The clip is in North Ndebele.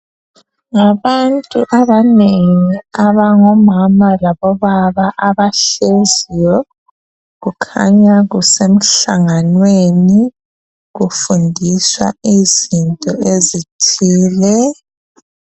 Ngabantu abanengi, abangomama labobaba abahleziyo. Kukhanya kusemhlanganweni. Kufundiswa izinto ezithile.